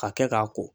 Ka kɛ k'a ko